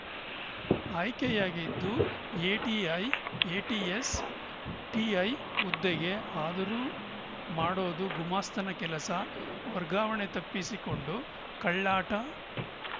ಆಯ್ಕೆಯಾಗಿದ್ದು ATI ATS TI ಹುದ್ದೆಗೆ ಆದರೂ ಮಾಡೋದು ಗುಮಾಸ್ತನ ಕೆಲಸ ವರ್ಗಾವಣೆ ತಪ್ಪಿಸಿಕೊಂಡು ಕಳ್ಳಾಟ